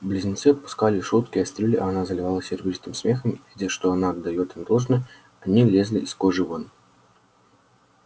близнецы отпускали шутки острили а она заливалась серебристым смехом и видя что она отдаёт им должное они лезли из кожи вон